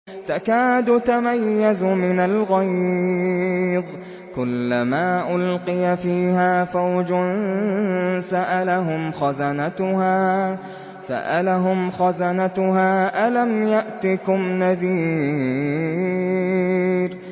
تَكَادُ تَمَيَّزُ مِنَ الْغَيْظِ ۖ كُلَّمَا أُلْقِيَ فِيهَا فَوْجٌ سَأَلَهُمْ خَزَنَتُهَا أَلَمْ يَأْتِكُمْ نَذِيرٌ